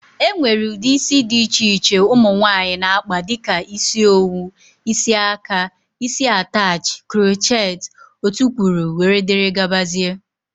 E nwere ụdị isi dị iche iche ụmụnwaanyi na-akpa dịka isi owu,, isi aka, isi atachị, croocheti ,otukwuru wdg.